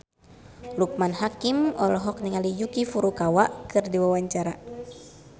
Loekman Hakim olohok ningali Yuki Furukawa keur diwawancara